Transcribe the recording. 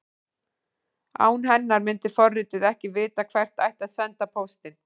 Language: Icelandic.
Án hennar myndi forritið ekki vita hvert ætti að senda póstinn.